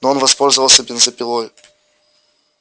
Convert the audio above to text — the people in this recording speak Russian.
но он воспользовался бензопилой